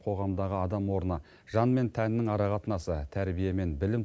қоғамдағы адам орны жан мен тәннің арақатынасы тәрбие мен білім